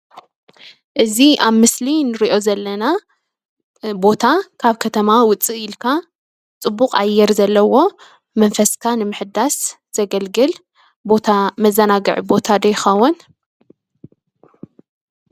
እዚ ኣብ ምስሊ እንሪኦ ዘለና ቦታ ካብ ከተማ ውፅእ ኢልካ ፅቡቕ ኣየር ዘለዎ መንፈስካ ንምሕዳስ ዘገልግል መዘናግዒ ቦታ ዶ ይኸውን?